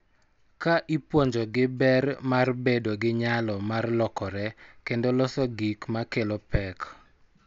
Ka ipuonjogi ber mar bedo gi nyalo mar lokore kendo loso gik ma kelo pek,